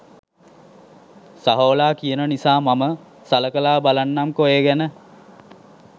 සහෝලා කියන නිසා මම සලකලා බලන්නම්කෝ ඒ ගැන.